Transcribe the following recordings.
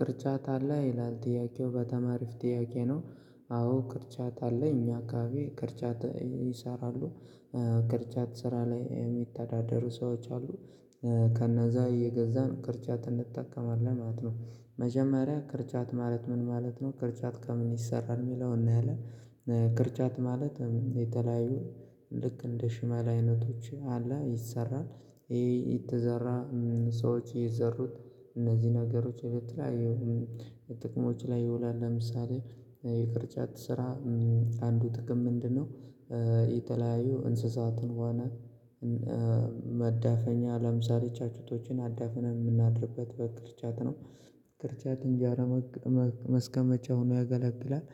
ቅርጫት አለ? ይላል ጥያቄው። በጣም አሪፍ ጥያቄ ነው። አዎ ቅርጫት አለ። እኛ አካባቢ ቅርጫት ይሰራሉ። ቅርጫት ስራ ላይ የሚተዳደሩ ሰዎች አሉ። ከነዛ እየገዛን ቅርጫት እንጠቀማለን ማለት ነው። መጀመሪያ ቅርጫት ማለት ምን ማለት ነው? ቅርጫት ከምን ይሰራል? የሚለውን እናያለን ቅርጫት ማለት የተለያዩ ልክ እንደ ሽመል አይነቶች አለ ይሰራል። ይሄ የተዘራ ሰዎች የዘሩት እነዚህ ነገሮች ለተለያዩ ጥቅሞች ላይ ይውላል። ለምሳሌ የቅርጫት ስራ አንዱ ጥቅም ምንድነው የተለያዩ እንስሳትን ዋና መዳፈኛ ለምሳሌ ጫጬቶችን አዳፍነን የምናድርበት በቅርጫት ነው። ቅርጫት እንጀራ ማስቀመጫ ሆኖ ያገለግላል።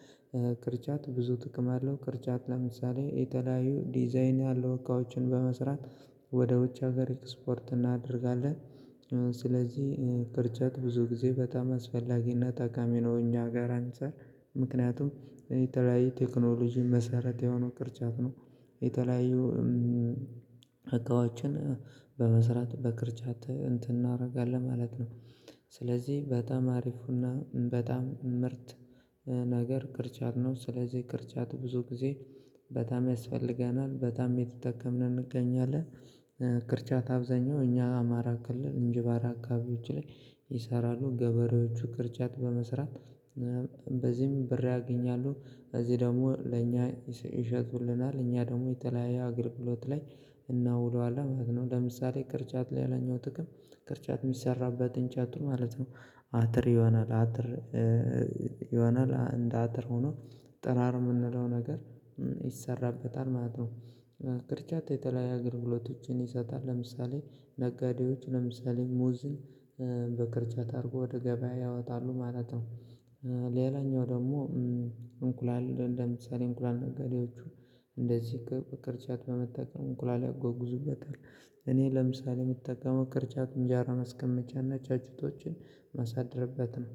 ቅርጫት ብዙ ጥቅም አለው። ቅርጫት ለምሳሌ የተለያዩ ዲዛይን ያለው እቃዎችን በመስራት ወደ ውጭ ሀገር ኤክስፖርት እናደርጋለን። ስለዚህ ቅርጫት ብዙ ጊዜ በጣም አስፈላጊና ጠቃሚ ነው እኛ ሀገር አንፃር። ምክንያቱም የተለያየ ቴክኖሎጂ መሰረት የሆነው ቅርጫት ነው። የተለያዩ እቃዎችን በመስራት በቅርጫት እንትን እናደርጋለን ማለት ነው። ስለዚህ በጣም አሪፉና በጣም ምርጥ ነገር ቅርጫት ነው። ስለዚህ ቅርጫት ብዙ ጊዜ በጣም ያስፈልገናል። በጣም እየተጠቀምን እንገኛለን። ቅርጫት አብዛኛው እኛ አማራ ክልል እንጅባራ አካባቢዎች ላይ ይሰራሉ። ገበሬዎቹ ቅርጫት በመስራት በዚህም ብር ያገኛሉ። እዚህ ደግሞ ለእኛ ይሸጡልናል። እኛ ደግሞ የተለያየ አገልግሎት ላይ እናውለዋለን ማለት ነው። ለምሳሌ ቅርጫት ሌላኛው ጥቅም ቅርጫት የሚሰራበት እንጨቱ ማለት ነው አጥር ይሆናል። አጥር ይሆናል እንደ አጥር ሆኖ ጥራር የምንለው ነገር ይሰራበታል ማለት ነው። ቅርጫት የተለያየ አገልግሎቶችን ይሰጣል። ለምሳሌ ነጋዴዎች ለምሳሌ ሙዝን በቅርጫት አድርገው ወደ ገበያ ያወጣሉ ማለት ነው። ሌላኛው ደግሞ እንቁላል እንደምሳሌ እንቁላል ነጋዴዎቹ እንደዚህ በቅርጫት በመጠቀም እንቁላል ያጓጉዙበታል። እኔ ለምሳሌ የምጠቀመው ቅርጫት እንጀራ ማስቀመጫና ጫጩቶችን የማሳደርበት ነው።